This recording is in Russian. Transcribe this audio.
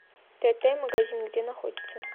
тт магазин где находится